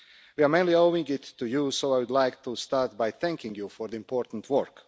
We mainly owe it to you, so I would like to start by thanking you for the important work.